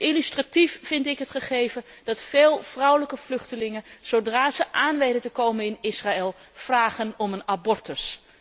En illustratief vind ik het gegeven dat veel vrouwelijke vluchtelingen, zodra zij aan weten te komen in Israël, vragen om een abortus.